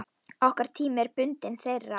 Okkar tími er bundinn þeirra.